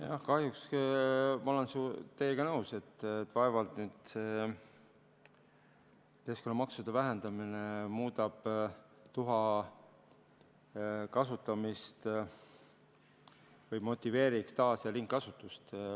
Jah, kahjuks ma olen teiega nõus, et vaevalt nüüd keskkonnamaksude vähendamine muudab tuha kasutamist või motiveeriks taas- ja ringkasutust.